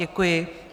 Děkuji.